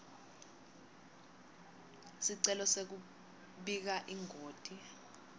sicelo sekubika ingoti